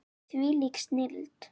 Hvílík snilld!